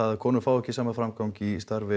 að konur fái ekki sama framgang í starfi